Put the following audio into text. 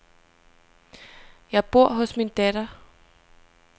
Jeg bor hos min datter.